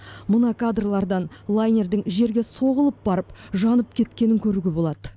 мына кадрлардан лайнердің жерге соғылып барып жанып кеткенін көруге болады